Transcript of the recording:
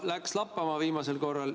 No, läks lappama viimasel korral.